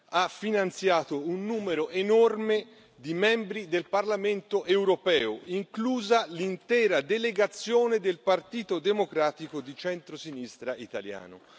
ha finanziato un numero enorme di membri del Parlamento europeo, inclusa l'intera delegazione del Partito Democratico di centrosinistra italiano.